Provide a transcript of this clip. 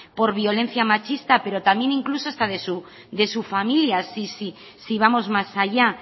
por violencia machista pero también incluso hasta de su familia si vamos más allá